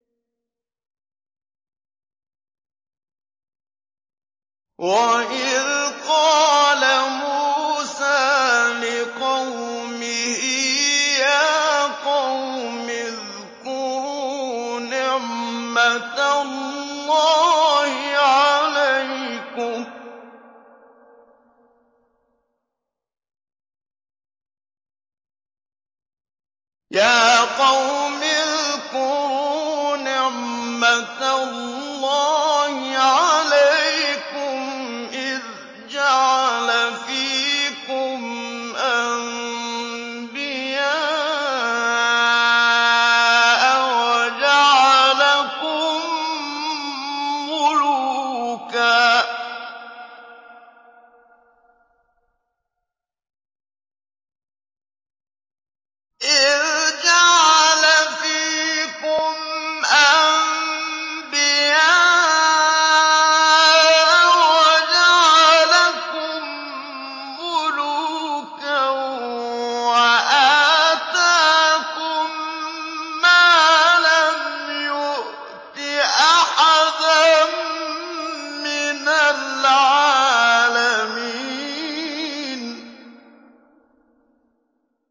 وَإِذْ قَالَ مُوسَىٰ لِقَوْمِهِ يَا قَوْمِ اذْكُرُوا نِعْمَةَ اللَّهِ عَلَيْكُمْ إِذْ جَعَلَ فِيكُمْ أَنبِيَاءَ وَجَعَلَكُم مُّلُوكًا وَآتَاكُم مَّا لَمْ يُؤْتِ أَحَدًا مِّنَ الْعَالَمِينَ